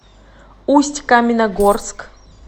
усть каменогорск